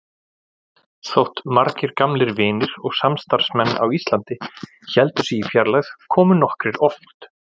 Þótt margir gamlir vinir og samstarfsmenn á Íslandi héldu sig í fjarlægð komu nokkrir oft.